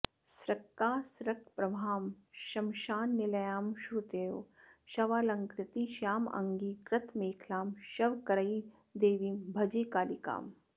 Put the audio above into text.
सृक्कासृक्प्रवहां श्मशान निलयां श्रुत्योः शवालङ्कृतिं श्यामाङ्गीं कृतमेखलां शवकरैर्देवीं भजे कालिकाम्